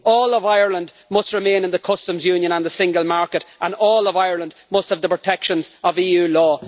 All of Ireland must remain in the Customs Union and the single market, and all of Ireland must have the protections of EU law.